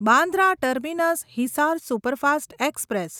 Bandra terminus Hisar superfast express